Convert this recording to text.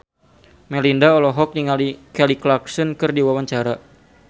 Melinda olohok ningali Kelly Clarkson keur diwawancara